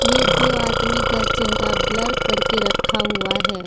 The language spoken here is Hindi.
ये दो आदमी का चेहरा ब्लर करके रखा हुआ है।